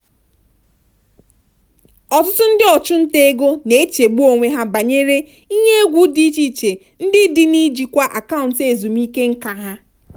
ọtụtụ ndị ọchụnta ego na-echegbu onwe ha banyere ihe egwu dị iche iche ndị dị n'ịjikwa akaụntụ ezumike nká ha.